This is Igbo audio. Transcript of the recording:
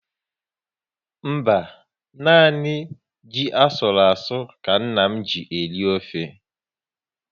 Mba, nanị ji asụru asụ ka nna m ji eri ofe